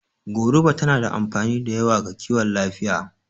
Goruba tana da amfani da yawa ga kiwon lafiya